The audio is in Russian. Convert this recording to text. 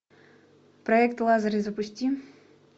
проект лазарь запусти